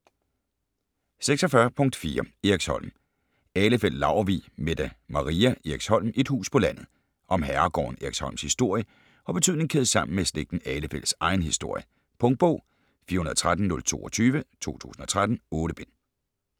46.4 Eriksholm Ahlefeldt-Laurvig, Mette Maria: Eriksholm: et hus på landet Om herregården Eriksholms historie og betydning kædet sammen med slægten Ahlefeldts egen historie. Punktbog 413022 2013. 8 bind.